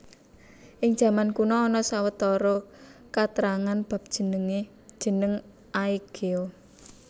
Ing jaman kuna ana sawetara katrangan bab jeneng Aegea